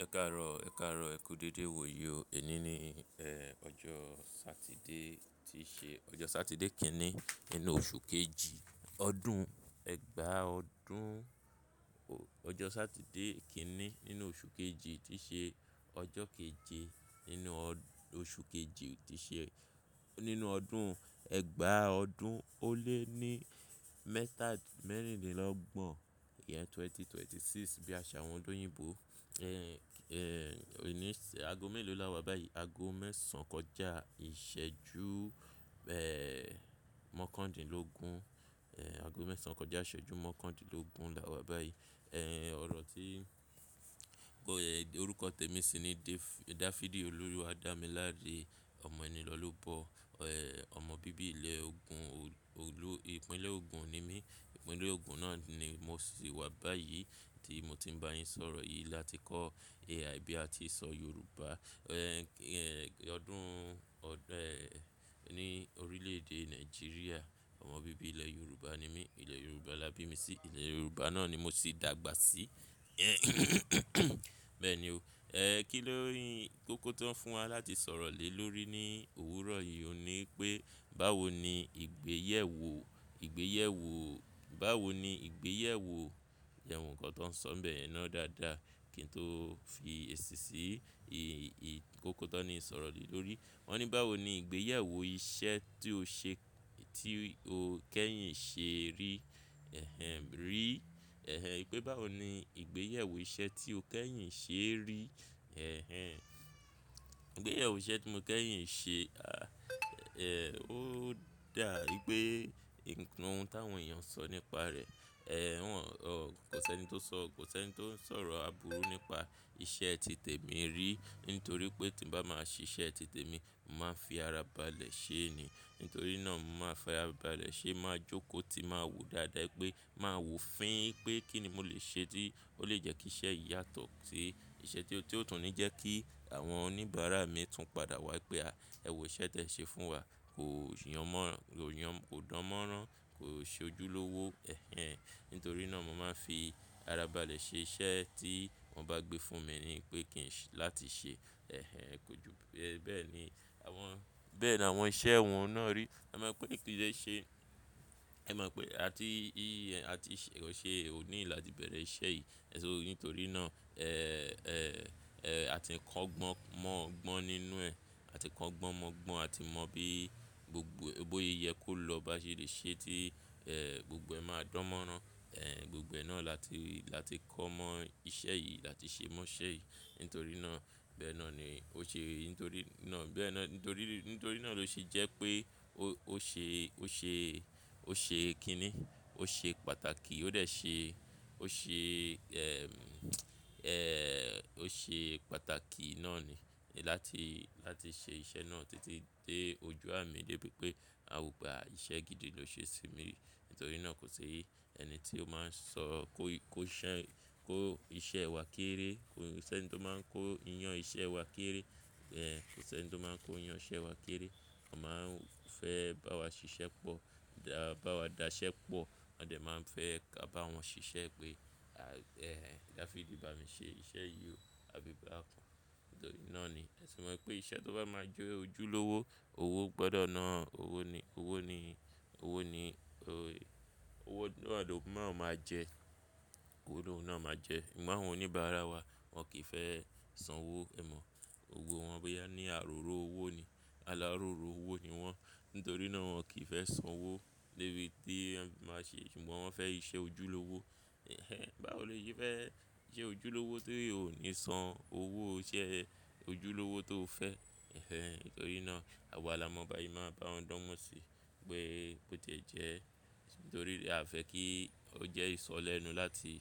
Ẹ káàárọ̀, e kaaro ẹ kú dédé, wò yi ó. Ẹ̀ní ní ọjọ́ Satide ti i ṣe, ọjọ́ Satide kinni nínú oṣù kejì ọdún ẹgbàá ọdún, ọjọ́ Satide kinni nínú oṣù kejì ti i ṣe ọjọ́ keje nínú oṣù kejì ti i ṣe nínú ọdún ẹgbàá ọdún ó lé ní mẹ́tà merindínlọ́gbọ̀n yẹn 2026 bí àṣà àwọn oloyinbò. Òní ago mélòó láwa báyìí? Ago mẹ́sàn kọjá ìṣẹ́jú mọ́kàndínlógún, ago mẹ́sàn kọjá ìṣẹ́jú mọ́kàndínlógún la wá báyìí. Ọ̀rọ̀ tí orúkọ tèmi sì ni De-Dafidi Olúwadámiláre. Ọmọ ẹni lọlọ́ bọ. Ọmọ bíbí ilẹ̀ ògùn, ìpínlẹ̀ ogun ni mí. Ìpínlẹ̀ ogun náà ni mo sì wà báyìí tí mo ti ń bá yín sọ̀rọ̀ yìí láti kọ́ AI bí a ti ń sọ Yorùbá. Ọdún ní orílẹ̀ èdè Nàìjíríà, ọmọ bíbí ilẹ̀ Yorùbá ni mí. Ilẹ̀ Yorùbá la bí mi sí, ilẹ̀ Yorùbá náà ni mo sì dàgbà sí. Bẹ́ẹ̀ ni o. Kíló ni kókó tó ń fún wa láti sọ̀rọ̀ lé lórí ní òwúrọ̀ yìí ò ní wipé báwo ni ìgbéyèwò, ìgbéyèwò, báwo ni ìgbéyèwò je n wo kan tó ń sọ n bẹ̀ yen náà dáadáa kí n tó fi èsì sí í. Kókó tó n ní i sọ̀rọ̀ lè lórí. Wọ́n ní báwo ni ìgbéyèwò iṣẹ́ tí o ṣe ti o kẹ́yìn ṣe rí rí pé báwo ni ìgbéyèwò iṣẹ́ tí o kẹ́yìn ṣe rí. Ìgbéyèwò iṣẹ́ tí mo kẹ́yìn ṣe, a ó dà i pé ohun tàwọn èèyàn ń sọ nípa rẹ̀ kò sí ẹni tó kò sí ẹni tó ń sọ̀rọ̀ àbúrú nípa iṣẹ́ ti tèmi rí nítorí pé tí n bá máa ṣe iṣẹ́ ti tèmi, mo màá n fi ara balẹ̀ ṣe é ni. Nítorí náà, mo màá fara balẹ̀ ṣe é, màá jókòó tí màá wò ó dáadáa i pé màá wò ó fín i pé kín ni mo lè ṣe tí ó lè jẹ́ kí iṣẹ́ yìí yàtọ̀ sí iṣẹ́ tí ó tún ní jẹ́ kí àwọn oníbàárà mi tún padà wá i pé, "a, ẹ wò iṣẹ́ tí ẹ ṣe fún wa kò yàn mọ́, kò dánmọ́rán, kò ṣe ojúlówó. Nítorí náà, mo máa ń fi ara balẹ̀ ṣe iṣẹ́ tí wọ́n bá gbé fún mi ni pé kí n ṣe láti ṣe kò ju bẹ́ẹ̀ ni bẹ́ẹ̀ ni àwọn iṣẹ́ wọn náà rí. Ẹ mo pé mi kí fe ṣe, ẹ má mọ̀ pé a ti a ti ṣe òní là tí bẹ̀rẹ̀ iṣẹ́ yìí. Ẹ sì mọ̀ pé nítorí náà a ti ń kọ́ gbọ́n mọ̀ gbọ́n nínú ẹ. A ti ń kọ́ gbọ́n mọ̀ gbọ́n, a ti mọ bí gbogbo ó yẹ kó lọ bá ṣe lè ṣe tí gbogbo ẹ máa dánmọ́rán. Gbogbo ẹ náà láti kọ́ mọ iṣẹ́ yìí, láti ṣe mọ iṣẹ́ yìí. Nítorí náà, bẹ́ẹ̀ náà ni ó ṣe, nítorí náà nítorí náà ló ṣe jẹ́ pé ó kí ni? Ó ṣe pàtàkì, ó dẹ̀ ṣe, ó ṣe ó ṣe pàtàkì náà ni. Látìí se ise na ti ti dé ojú à mi dé pé pé a ò gba iṣẹ́ gidi ló ṣe sí mí rí. Nítorí náà kò ṣi ẹni tí ó máa ń sọ kó iṣẹ́ ẹ wá kéré, kò sí ẹni tí ó máa ń kó iyán iṣẹ́ ẹ wá kéré. Kò sí ẹni tí ó máa ń kó iyán iṣẹ́ ẹ wá kéré. Wọ́n máa ń fẹ́ bá wa ṣiṣẹ́ pọ̀, dá bá wa daṣẹ́ pọ̀. Wọ́n dẹ̀ máa ń fẹ́ ká bá wọn ṣiṣẹ́ pé "Dáfídì bá mi ṣe iṣẹ́ yìí o" àbí "bá mi ṣe iṣẹ́ náà kọ́". Nítorí náà ni ẹ sì mọ̀ pé iṣẹ́ tó bá máa jẹ́ ojúlówó, owó gbọdọ̀ náà owó àdd up na máa jẹ ẹ. Òwe náà máa jẹ ẹ. Ìwọ àwọn oníbàárà wa, wọ́n kì í fẹ́ san owó, ẹ mọ̀. Gbogbo wọn boya ní àróró owó ni. Aláróró owó ni wọ́n. Nítorí náà, wọ́n kì í fẹ́ san owó lébi tí ẹ máa ṣe. Ṣùgbọ́n wọ́n fẹ́ iṣẹ́ ojúlówó. Báwo lo ṣe fẹ́ iṣẹ́ ojúlówó tí ò ní san owó iṣẹ́ ojúlówó tó fẹ́? Nítorí náà, àwa la mọ̀ báyìí máa bá wọn dánmọ́ sí pé bó ti jẹ́. Nítorí a fẹ́ kí ó jẹ́ ìsọ lẹ́nu láti